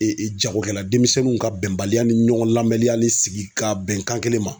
jagokɛla denmisɛnninw ka bɛnbaliya ni ɲɔgɔn lamɛnyali sigi ka bɛnkan kelen ma.